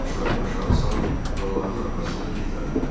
Uşaqlar başlarını aşağı salıb analarının arxasında gizləndilər.